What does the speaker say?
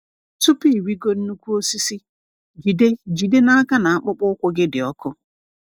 Tupu ịrịgo nnukwu osisi, jide jide n'aka na akpụkpọ ụkwụ gị dị ọkụ.